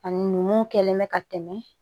Ani mun kɛlen bɛ ka tɛmɛ